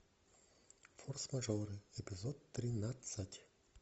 форс мажоры эпизод тринадцать